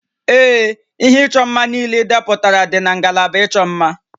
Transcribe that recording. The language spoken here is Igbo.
Ee, ihe ịchọ mma niile idepụtara dị na ngalaba ịchọ mma